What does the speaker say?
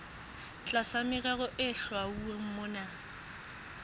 tlasa merero e hlwauweng mona